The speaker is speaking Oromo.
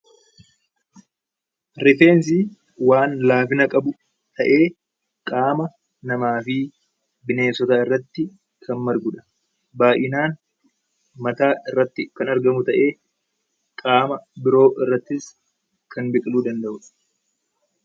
Rifeensi waan laafina qabu ta'ee qaama namaa fi bineensotaa irratti kan margudha. Baay'inaan mataa irratti kan argamu ta'ee, qaama biroo irrattis kan biqiluu danda'udha.